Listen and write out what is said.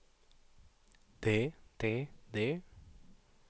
det det det